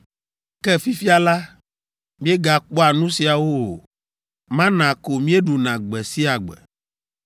Ke fifia la, míegakpɔa nu siawo o; mana ko míeɖuna gbe sia gbe!”